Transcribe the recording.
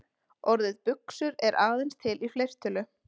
Orðið buxur er aðeins til í fleirtölu.